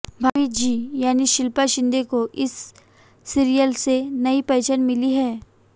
भाभी जी यानी शिल्पा शिंदे को इस सीरियल से नयी पहचान मिली है